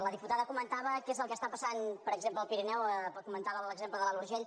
la diputada comentava què és el que passa per exemple al pirineu comentava l’exemple de l’alt urgell